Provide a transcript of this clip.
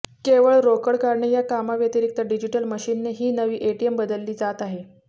केवळ रोकड काढणे या कामाव्यतिरिक्त डिजिटल मशीनने ही नवी एटीएम बदलली जात आहेत